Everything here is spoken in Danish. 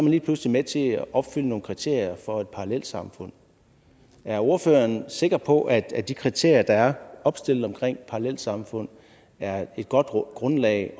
lige pludselig med til at opfylde nogle kriterier for et parallelsamfund er ordføreren sikker på at at de kriterier der er opstillet omkring parallelsamfund er et godt grundlag